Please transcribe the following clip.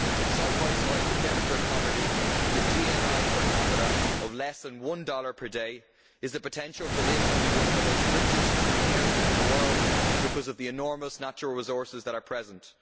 Side by side with desperate poverty, with a GNI per capita of less than one dollar per day, is the potential for this to be one of the richest areas in the world because of the enormous natural resources that are present.